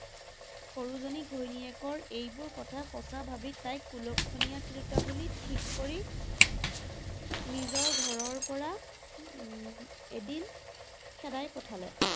সৰুজনী ঘৈণীয়েকৰ এইবোৰ কথা সঁচা ভাবি তাইক কুলক্ষণীয়া তিৰোতা বুলি ঠিক কৰি নিজৰ ঘৰৰ পৰা উম এদিন খেদাই পঠালে।